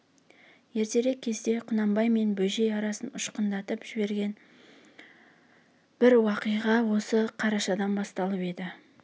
ертерек кезде құнанбай мен бөжей арасын ұшқындырып жіберген бір уақиға осы қарашадан басталып еді